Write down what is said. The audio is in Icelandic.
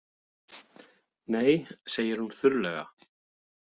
Nei, segir hún þurrlega.